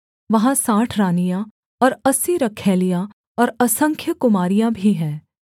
वहाँ साठ रानियाँ और अस्सी रखैलियाँ और असंख्य कुमारियाँ भी हैं